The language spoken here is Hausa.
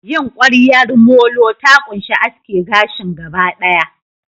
yin ƙwaryar molo ta ƙunshi aske gashin gaba ɗaya.